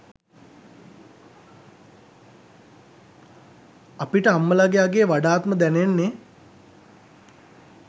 අපිට අම්මලගෙ අගේ වඩාත්ම දැනෙන්නෙ